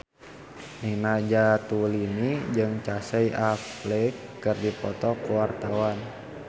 Nina Zatulini jeung Casey Affleck keur dipoto ku wartawan